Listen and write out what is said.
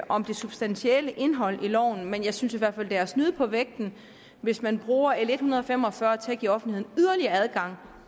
om det substantielle indhold i loven men jeg synes i hvert fald det er at snyde på vægten hvis man bruger l en hundrede og fem og fyrre til at give offentligheden yderligere adgang